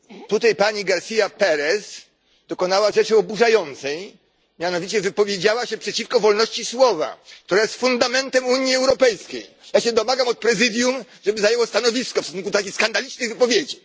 Tutaj pani García Pérez dokonała rzeczy oburzającej, mianowicie wypowiedziała się przeciwko wolności słowa, która jest fundamentem Unii Europejskiej. Ja się domagam od Prezydium, żeby zajęło stanowisko w stosunku takich skandalicznych wypowiedzi.